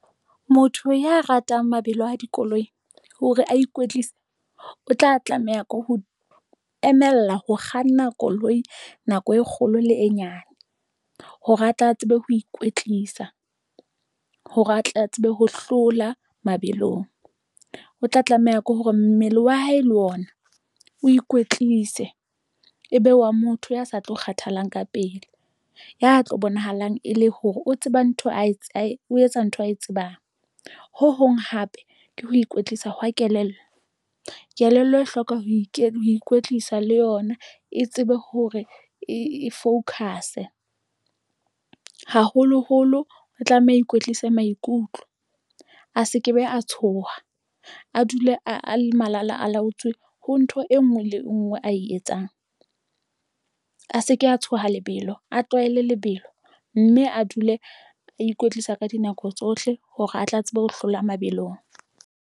Motho ya ratang mabelo a dikoloi hore a ikwetlise o tla tlameha ke ho emella ho kganna koloi nako e kgolo le e nyane, hore atla tsebe ho ikwetlisa hore a tle a tsebe ho hlola mabelong. O tla tlameha ke hore mmele wa hae le ona o ikwetlise, ebe wa motho ya sa tlo kgathalang ka pele, ya tlo bonahalang e le hore o tseba ntho o etsa ntho ae tsebang ho hong hape ke ho ikwetlisa hwa kelello, kelello e hloka ho ikwetlisa le yona e tsebe hore e focus e haholoholo. O tlameha ikwetlise maikutlo, a se ke be a tshoha a dule a le malala a laotswe ho ntho engwe le ngwe ae etsang a se ke a tshoha lebelo, a tlwaele lebelo mme a dule a ikwetlisa ka dinako tsohle hore a tle a tsebe ho hlola mabelong.